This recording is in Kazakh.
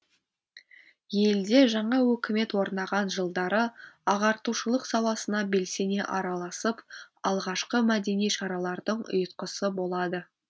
елде жаңа өкімет орнаған жылдары ағартушылық саласына белсене араласып алғашқы мәдени шаралардың ұйытқысы болады